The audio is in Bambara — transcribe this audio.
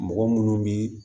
Mɔgɔ munnu bi